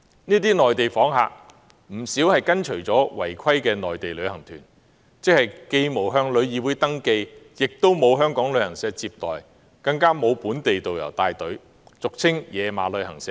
這些內地訪客不少是跟隨違規的內地旅行團來港的，這些旅行團既沒有向旅議會登記，亦沒有香港旅行社接待，更沒有本地導遊帶隊，俗稱"野馬"的旅行社。